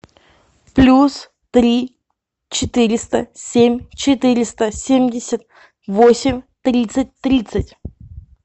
плюс три четыреста семь четыреста семьдесят восемь тридцать тридцать